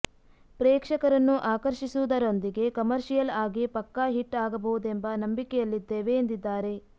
ಪ್ರೇಕ್ಷಕರನ್ನು ಆಕರ್ಷಿಸುವುದರೊಂದಿಗೆ ಕಮರ್ಷಿಯಲ್ ಆಗಿ ಪಕ್ಕಾ ಹಿಟ್ ಆಗಬಹುದೆಂಬ ನಂಬಿಕೆಯಲ್ಲಿದ್ದೇವೆ ಎಂದಿದ್ದಾರೆ